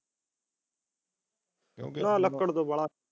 ਕਿਉਂਕਿ ਹਾਂ ਲੱਕੜਾ ਤਾਂ ਬਾਹਲਾ